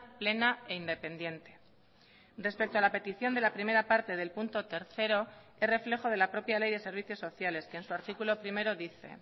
plena e independiente respecto a la petición de la primera parte del punto tercero es reflejo de la propia ley de servicios sociales que en su artículo primero dice